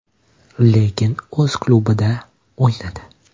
Lekin o‘z klubida o‘ynadi.